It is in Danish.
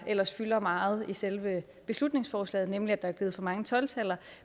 ellers fylder meget i selve beslutningsforslaget nemlig at der er givet for mange tolv taller